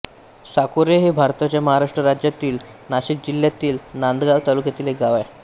साकोरे हे भारताच्या महाराष्ट्र राज्यातील नाशिक जिल्ह्यातील नांदगाव तालुक्यातील एक गाव आहे